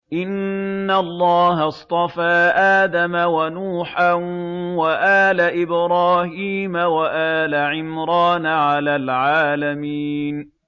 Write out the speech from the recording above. ۞ إِنَّ اللَّهَ اصْطَفَىٰ آدَمَ وَنُوحًا وَآلَ إِبْرَاهِيمَ وَآلَ عِمْرَانَ عَلَى الْعَالَمِينَ